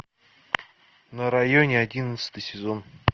на районе одиннадцатый сезон